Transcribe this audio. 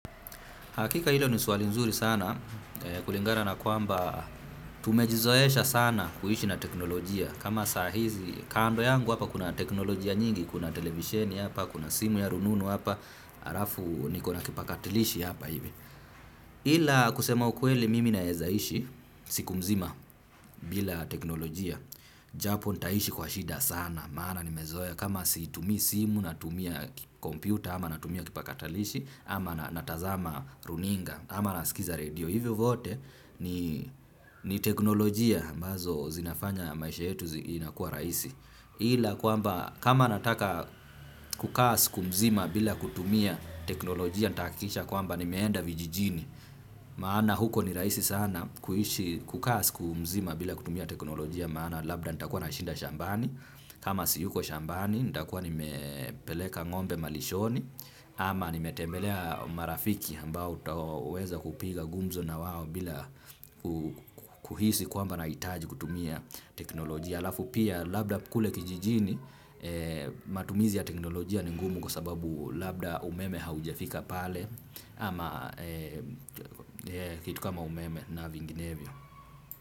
Hakika hilo ni suali nzuri sana, kulingana na kwamba tumejizoesha sana kuishi na teknolojia. Kama sahizi, kando yangu hapa kuna teknolojia nyingi, kuna televisheni hapa, kuna simu ya rununu hapa, halafu niko na kipakatilishi hapa hivi. Ila kusema ukweli mimi naeza ishi, siku mzima bila teknolojia. Japo nitaishi kwa shida sana, maana nimezoea. Kama siitumi simu natumia kompyuta, ama natumia kipakatalishi, ama natazama runinga. Ama nasikiza redio, hivyo vyote ni teknolojia ambazo zinafanya maisha yetu inakuwa rahisi. Ila kwamba kama nataka kukaa siku mzima bila kutumia teknolojia ntahakikisha kwamba nimeenda vijijini. Maana huko ni rahisi sana kuishi kukaa siku mzima bila kutumia teknolojia maana labda nitakuwa nashinda shambani. Kama siyuko shambani nitakuwa nimepeleka ngombe malishoni. Ama nimetembelea marafiki ambao utaweza kupiga gumzo na wao bila kuhisi kwamba nahitaji kutumia teknolojia. Halafu pia labda kule kijijini matumizi ya teknolojia ni ngumu kwa sababu labda umeme haujafika pale ama kitu kama umeme na vinginevyo.